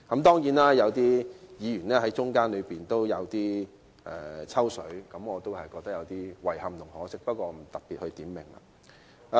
當然，有些議員在討論期間有點"抽水"，我對此感到有點遺憾和可惜，不過我不特別點名了。